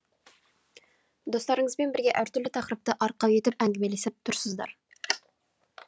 достарыңызбен бірге әр түрлі тақырыпты арқау етіп әңгімелесіп тұрсыздар